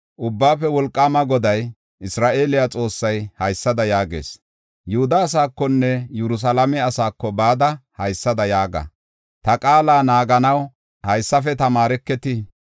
Ubbaafe Wolqaama Goday, Isra7eele Xoossay haysada yaagees. “Yihuda asaakonne Yerusalaame asaako bada haysada yaaga; ‘Ta qaala naaganaw haysafe tamaareketi.’